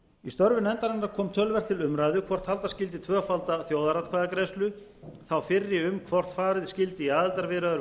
í störfum nefndarinnar kom töluvert til umræðu hvort halda skyldi tvöfalda þjóðaratkvæðagreiðslu þá fyrri um hvort farið skyldi í aðildarviðræður við